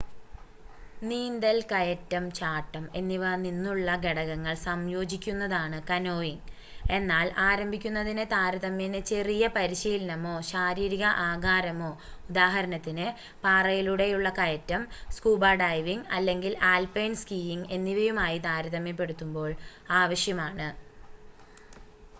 നീന്തൽ കയറ്റം ചാട്ടം എന്നിവ നിന്നുള്ള ഘടകങ്ങൾ സംയോജിക്കുന്നതാണ് കനോയിംഗ്--എന്നാൽ ആരംഭിക്കുന്നതിന് താരതമ്യേന ചെറിയ പരിശീലനമോ ശാരീരിക ആകാരമോ ഉദാഹരണത്തിന് പാറയിലൂടെയുള്ള കയറ്റം സ്കൂബ ഡൈവിംഗ് അല്ലെങ്കിൽ ആൽപൈൻ സ്കീയിംഗ് എന്നിവയുമായി താരതമ്യപ്പെടുത്തുമ്പോൾ ആവശ്യമാണ്